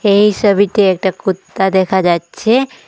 এই ছবিতে একটা কুত্তা দেখা যাচ্ছে।